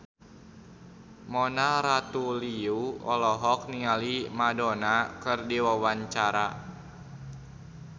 Mona Ratuliu olohok ningali Madonna keur diwawancara